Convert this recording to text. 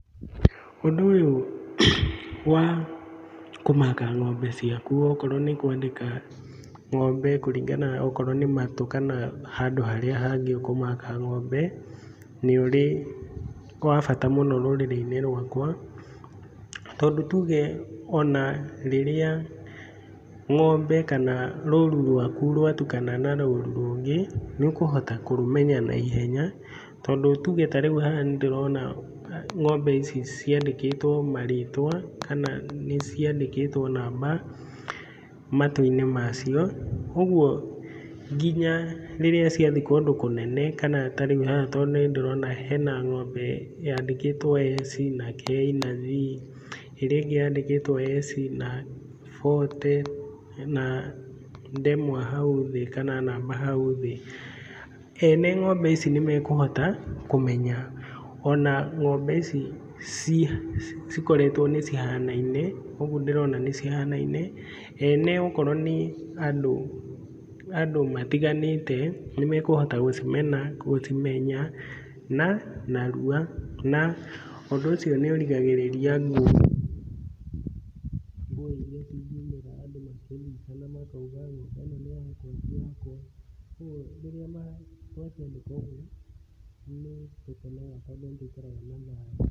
Ũndũ ũyũ wa kũmaka ng'ombe ciaku okorwo nĩkwandĩka ng'ombe kũringana okrowo nĩ matũ kana handũ harĩa hangĩ ũkũmaka ng'ombe, nĩ ũrĩ wa bata mũno rũrĩrĩ-inĩ rwakwa, tondũ tuge onarĩrĩa ng'ombe kana rũru rwaku rwatukana na rũru rũngĩ nĩũkũhota kũrũmenya naihenya. Tondũ tuge ta rĩu haha nĩndĩrona ng'ombe ici ciandĩkĩtwo marĩtwa kana nĩciandĩkĩtwo namba matũ-inĩ macio, ũguo nginya rĩrĩa ciathiĩ kundũ kũnene kana ta rĩu haha nĩndĩrona hena ng'ombe yandĩkĩtwo eci na kei na bi ĩrĩa ĩngĩ yandĩkĩtwo eci na bote na ndemwa hau thĩ kana namba hau thĩ, ene ng'ombe ici nĩmekũhota kũmenya ona ng'ombe ici cikoretwo nĩcihanaine, ũguo ndĩrona nĩcihanaine, ene okorwo nĩ andũ andũ matiganĩte nĩmekũhota gũcimena gũcimenya narua na ũndũ ũcio nĩũrigagĩrĩria ngũĩ iria cingiumĩra andũ makĩnyitana makauga ng'ombe ĩno nĩ yakwa ti yaku, kuoguo rĩrĩa yakĩandĩkwo gũikaraga na thayũ.